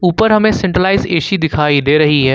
ऊपर हमें centralize AC दिखाई दे रही है।